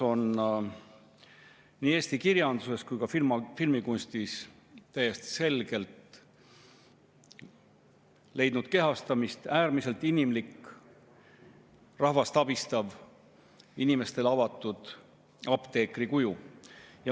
Nii Eesti kirjanduses kui ka filmikunstis on täiesti selgelt leidnud kehastamist äärmiselt inimlik, rahvast abistav, inimestele avatud apteekri kuju.